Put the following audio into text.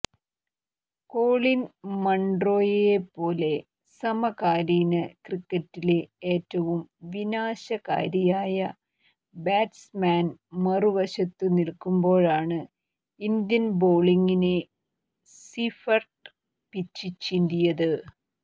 Colin മണ്റോയേപ്പോലെ സമകാലീന ക്രിക്കറ്റിലെ ഏറ്റവും വിനാശകാരിയായ ബാറ്റ്സ്മാൻ മറുവശത്തു നിൽക്കുമ്പോഴാണ് ഇന്ത്യൻ ബോളിങ്ങിനെ സീഫർട്ട് പിച്ചിച്ചീന്തിയത്